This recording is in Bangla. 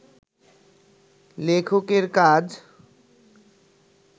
লেখকের কাজ